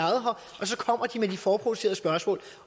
og så kommer de med de forudproducerede spørgsmål